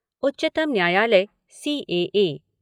उच्चतम न्यायालय सीएए